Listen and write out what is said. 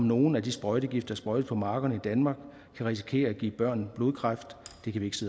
nogle af de sprøjtegifte der sprøjtes på markerne i danmark kan risikere at give børn blodkræft